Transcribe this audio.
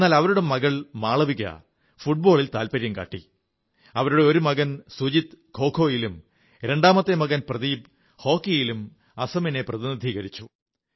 എന്നാൽ അവരുടെ മകൾ മാളവിക ഫുട്ബോളിലും അവരുടെ ഒരു മകൻ സുജിത് ഖോഖോയിലും രണ്ടാമത്തെ മകൻ പ്രദീപ് ഹോക്കിയിലും അസമിനെ പ്രതിനിധീകരിച്ചു